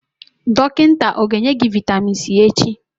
Dọkịta o ga-enye gị Vitamin C echi?